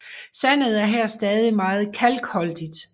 Sandet er her stadig meget kalkholdigt